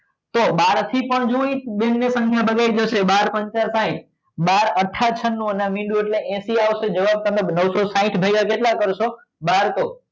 તો એ બહારથી પણ બાર થી પણ બાર પંચા સાઇટ બાર અઠ્ઠા ચનનું અને આ મીંડો એટલે હેસિ આવે જવાબ નવસો સાઇટ ભાગ્યા કેટલા કરશો બરસો